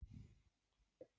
En hvað var Grétar að hugsa?